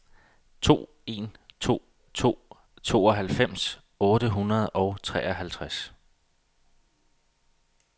to en to to tooghalvfems otte hundrede og treoghalvtreds